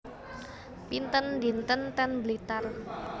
Pinten dinten ten Blitar